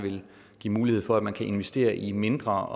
give mulighed for at man kan investere i mindre